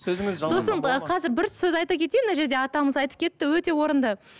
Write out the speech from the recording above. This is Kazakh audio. сосын ы қазір бір сөз айта кетейін мына жерде атамыз айтып кетті өте орынды